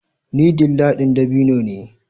Ni dilla ɗin dabino ne